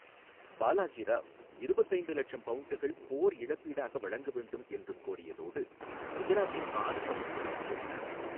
பாலாஜி ராவ், இருபத்து ஐந்து லட்சம் பவுண்டுகள் போர் இழப்பீடாக வழங்க வேண்டும் என்றும் கோரியதோடு, குஜராத்தின் பாதிப் பகுதிகளையும் கோரினார்.